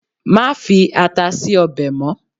ma fi ata sí obe mo